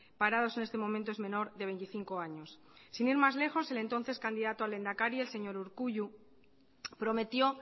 parados en este momento es menor de veinticinco años sin ir más lejos el entonces candidato a lehendakari el señor urkullu prometió